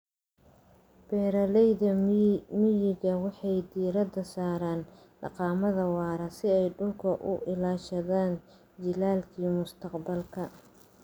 Beeralayda miyiga waxay diiradda saaraan dhaqamada waara si ay dhulka u ilaashadaan jiilalka mustaqbalka.